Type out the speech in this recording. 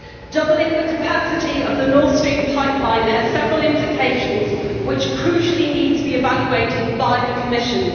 Doubling the capacity of the Nord Stream pipeline has several implications which crucially need to be evaluated by the Commission.